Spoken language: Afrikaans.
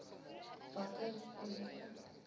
watter rede